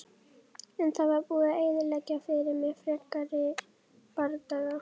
En það var búið að eyðileggja fyrir mér frekari bardaga.